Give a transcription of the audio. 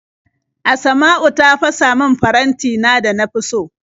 Asma'u ta fasa min farantina da na fi so.